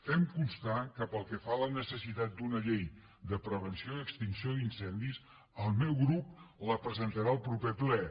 fem constar que pel que fa a la necessitat d’una llei de prevenció i extinció d’incendis el meu grup la presentarà al proper ple